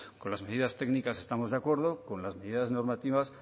con las medidas técnicas estamos de acuerdo con las medidas normativas